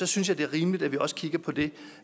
synes jeg det er rimeligt at vi også kigger på det